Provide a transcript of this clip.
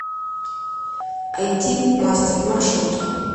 айти мастер маршрут